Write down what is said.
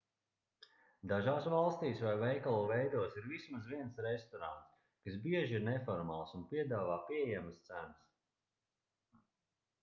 dažās valstīs vai veikalu veidos ir vismaz viens restorāns kas bieži ir neformāls un piedāvā pieejamas cenas